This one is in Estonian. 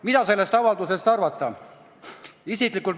Mida sellest avaldusest arvata?